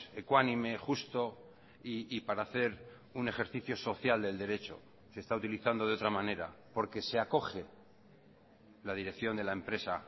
ecuánime justo y para hacer un ejercicio social del derecho se está utilizando de otra manera porque se acoge la dirección de la empresa